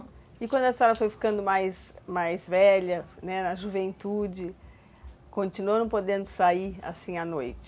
E quando a história foi ficando mais mais velha, né, na juventude, continuou não podendo sair, assim à noite?